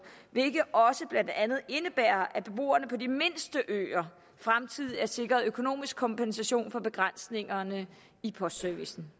hvilket blandt andet indebærer at også beboerne på de mindste øer fremtidigt er sikret økonomisk kompensation for begrænsningerne i postservicen